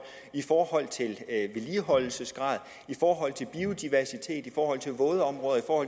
i forhold til vedligeholdelsesgrad i forhold til biodiversitet i forhold til vådområder og